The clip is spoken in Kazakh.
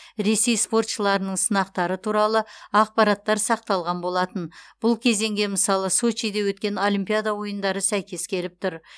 ресей спортшыларының сынақтары туралы ақпараттар сақталған болатын бұл кезеңге мысалы сочиде өткен олимпиада ойындары сәйкес келіп тұр